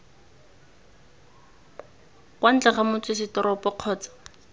kwa ntle ga motsesetoropo kgotsa